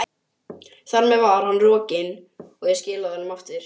Þar með var hann rokinn, og ég skilaði honum aftur.